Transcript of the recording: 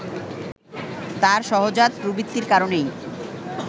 তার সহজাত প্রবৃত্তির কারণেই